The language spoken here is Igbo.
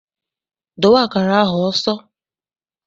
Dowe akara ahụ ọsọ!